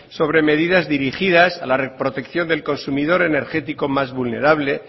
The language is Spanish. sobre medidas dirigidas a la protección del consumidor energético más vulnerable